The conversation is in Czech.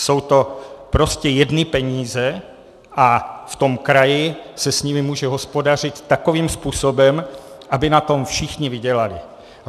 Jsou to prostě jedny peníze a v tom kraji se s nimi může hospodařit takovým způsobem, aby na tom všichni vydělali.